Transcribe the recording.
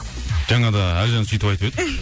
жаңа да әлжан сүйтіп айтып еді